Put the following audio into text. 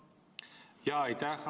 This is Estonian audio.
Aitäh!